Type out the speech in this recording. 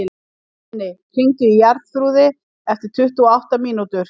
Binni, hringdu í Jarþrúði eftir tuttugu og átta mínútur.